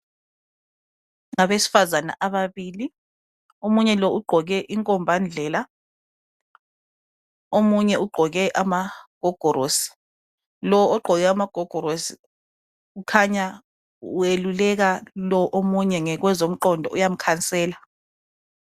Abesifazana ababili, omunye lo ugqoke inkomba ndlela omunye ugqoke amagogorosi, lo ogqoke amagogorosi ukhanya weluleka lo omunye ngokwezomqondo uyamkhansela